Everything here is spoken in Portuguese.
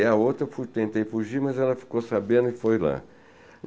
E a outra, eu tentei fugir, mas ela ficou sabendo e foi lá.